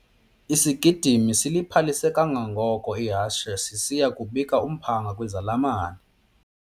Isigidimi siliphalise kangangoko ihashe sisiya kubika umphanga kwizalamane.